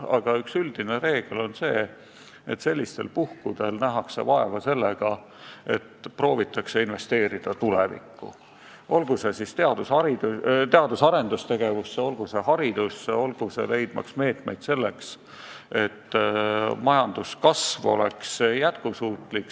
Aga kehtib üks üldine reegel: sellistel puhkudel nähakse vaeva sellega, et proovitakse investeerida tulevikku, olgu teadus-arendustegevusse, olgu haridusse, olgu leidmaks meetmeid, et majanduskasv jätkuks ka tulevikus.